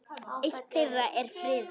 Eitt þeirra er friðað.